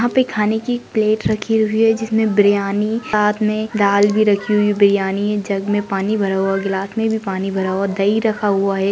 यहा पे खाने की प्लेट रखी हुई है जिसमे बिर्याणी साथ मे दाल भी रखी हुई बिर्याणी जग मे पानी भरा हुआ गिलास मे भी पानी भरा हुआ दही रखा हुआ है।